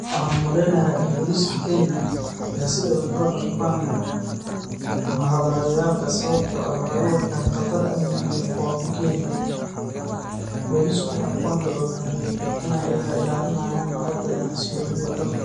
Waxaan u maleynayaa in booliska Kenya ay si adag ula dhaqmaan muhadaraadeyaalka sababtoo ah waxay u arkaan khatar amni iyo fowdo keeni karta. Boolisku waxay ku andacoodaan in ay ilaalinayaan nabadda iyo xasiloonida dalka,